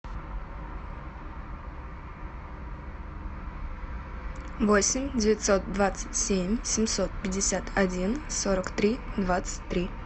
восемь девятьсот двадцать семь семьсот пятьдесят один сорок три двадцать три